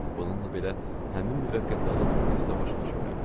Bununla belə, həmin müvəqqəti ağılsızlığı da başa düşmürəm.